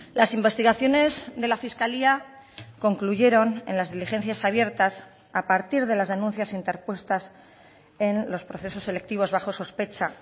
las investigaciones de la fiscalía concluyeron en las diligencias abiertas a partir de las denuncias interpuestas en los procesos selectivos bajo sospecha